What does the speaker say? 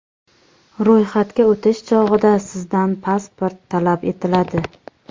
Ro‘yxatga o‘tish chog‘ida sizdan pasport talab etiladi.